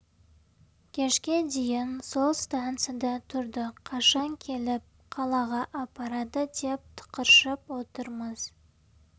кешке дейін сол станцияда тұрдық қашан келіп қалаға апарады деп тықыршып отырмыз